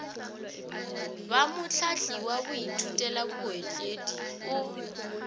ba mohlahli wa baithutelabootledi o